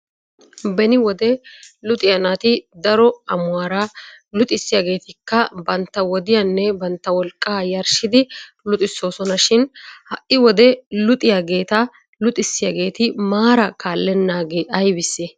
Beni wode luxiya naati daro amuwaara luxissiyageetikka bantta wodiyanne bantta wolqqaa yarshidi luxissoosona shin ha'i wode luxiyageeta luxissiyageeti maara kaallennaagee ayibisse?